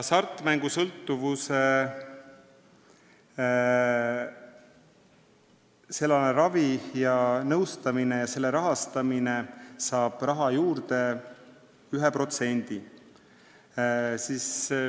Hasartmängusõltuvuse ravi ja sellealane nõustamine saab raha juurde 1%.